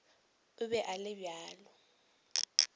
o be a le bjalo